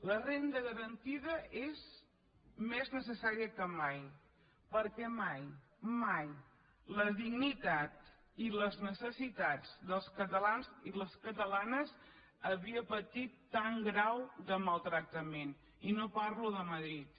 la renda garantida és més necessària que mai perquè mai mai la dignitat i les necessitats dels catalans i les catalanes havien patit tan grau de maltractament i no parlo de madrid